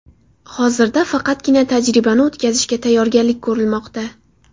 Hozirda faqatgina tajribani o‘tkazishga tayyorgarlik ko‘rilmoqda.